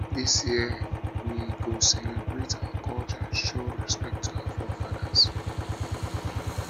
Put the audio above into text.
this year we year we go celebrate our culture and show respect to our forefathers